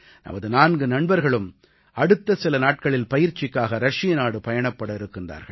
நமது நான்கு நண்பர்களும் அடுத்த சில நாட்களில் பயிற்சிக்காக ரஷியநாடு பயணப்பட இருக்கிறார்கள்